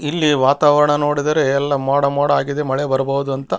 ಇಲ್ಲಿ ವಾತಾವರಣ ನೋಡಿದರೆ ಎಲ್ಲ ಮೋಡ ಮೋಡ ಆಗಿದೆ ಮಳೆ ಬರ್ಬಹುದು ಅಂತ.